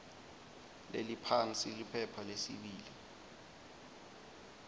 leliphansi liphepha lesibili